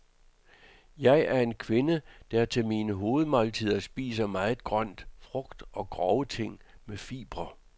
Jeg er en kvinde, der til mine hovedmåltider spiser meget grønt, frugt og grove ting med fibre.